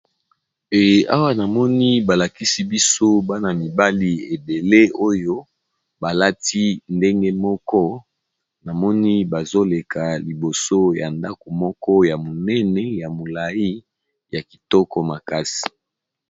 Eawa namoni balakisi biso bana mibali ebele oyo balati ndenge moko namoni bazoleka liboso ya ndako moko ya monene ya molai ya kitoko makasi.